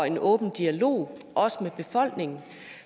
en åben dialog også med befolkningen